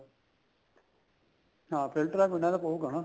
ਹਾਂ filter ਵਾਲਾ ਪੀਣਾ ਤਾਂ ਪਉਗਾ ਨਾ